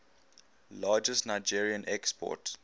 largest nigerien export